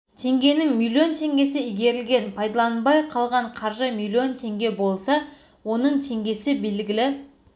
теңгенің миллион теңгесі игерілген пайдаланбай қалған қаржы миллион теңге болса оның теңгесі белгілі